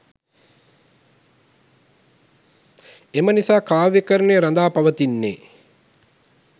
එම නිසා කාව්‍යකරණය රඳා පවතින්නේ